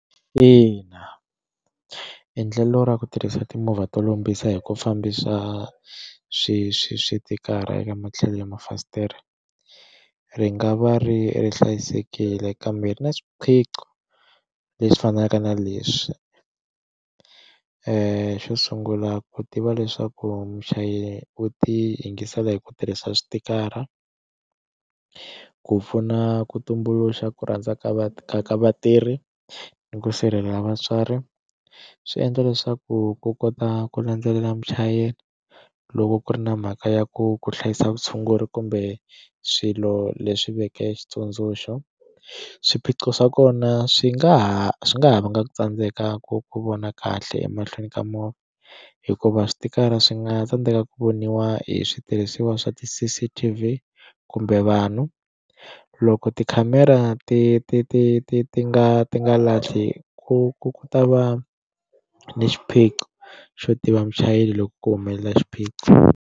Ina endlelo ra ku tirhisa timovha to lombisa hi ku fambisa swi swi switikara eka matlhelo ya mafasitere ri nga va ri ri hlayisekile kambe ri na swiphiqo leswi fanaka na leswi xo sungula ku tiva leswaku muchayeri u ti yingisela hi ku tirhisa switikara ku pfuna ku tumbuluxa ku rhandza ka ka ka vatirhi ni ku sirhelela vatswari swi endla leswaku ku kota ku landzelela muchayeri loko ku ri na mhaka ya ku ku hlayisa vutshunguri kumbe swilo leswi veke xitsundzuxo swiphiqo swa kona swi nga ha swi nga ha vanga ku tsandzeka ku ku vona kahle emahlweni ka movha hikuva switikara swi nga tsandzeka ku voniwa hi switirhisiwa swa ti C_C_T_V kumbe vanhu loko tikhamera ti ti ti ti ti nga ti nga lahli ku ku ku ta va ni xiphiqo xo tiva muchayeri loko ku humelela xiphiqo.